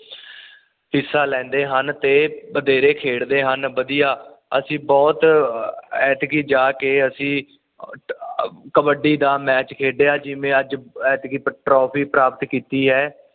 ਹਿਸਾ ਲੈਂਦੇ ਹਨ ਤੇ ਬਥੇਰੇ ਖੇਡ ਦੇ ਹਨ ਵਧੀਆ ਅਸੀਂ ਬੁਹਤ ਐਤਕੀਂ ਜਾ ਕੇ ਅਸੀਂ ਕਬੱਡੀ ਦਾ ਮੈਚ ਖੇਡਿਆ ਜਿਵੇਂ ਅੱਜ ਐਤਕੀਂ ਟਰਾਫੀ ਪ੍ਰਾਪਤ ਕੀਤੀ ਏ